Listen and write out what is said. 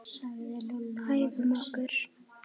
Æfum okkur.